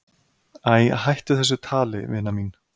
"""Æ, hættu þessu tali, vina mín."""